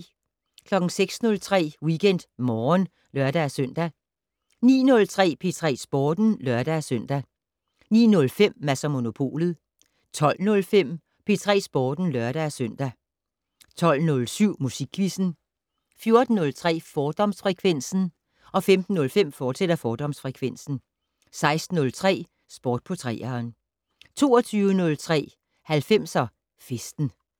06:03: WeekendMorgen (lør-søn) 09:03: P3 Sporten (lør-søn) 09:05: Mads & Monopolet 12:05: P3 Sporten (lør-søn) 12:07: Musikquizzen 14:03: Fordomsfrekvensen 15:05: Fordomsfrekvensen, fortsat 16:03: Sport på 3'eren 22:03: 90'er festen